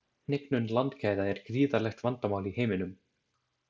Hnignun landgæða er gríðarlegt vandamál í heiminum.